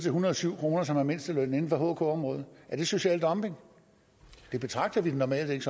en hundrede og syv kr som er mindstelønnen inden for hk området er det social dumping det betragter vi det normalt ikke